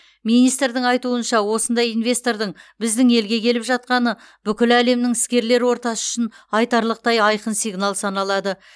министрдің айтуынша осындай инвестордың біздің елге келіп жатқаны бүкіл әлемнің іскерлер ортасы үшін айтарлықтай айқын сигнал саналады